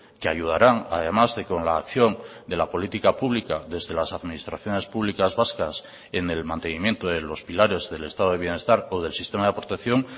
que ayudarán además de con la acción de la política pública desde las administraciones públicas vascas en el mantenimiento de los pilares del estado de bienestar o del sistema de protección